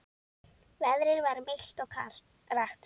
Veðrið var milt og rakt.